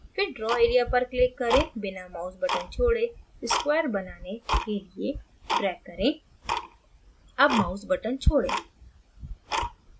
फिर draw area पर click करें बिना mouse button छोड़े square बनाने के लिये drag करें अब mouse button छोड़ें